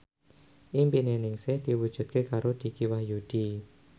impine Ningsih diwujudke karo Dicky Wahyudi